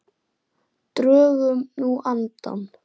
Drögum nú andann.